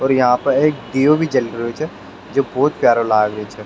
और यहाँ पे एक दियो भी जल रो छे जो बहोत प्यारो लाग रेहो छे।